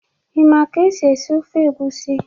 Ị ma ka esi esi ofe egusi?